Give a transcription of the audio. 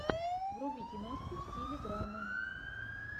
вруби киношку в стиле драмы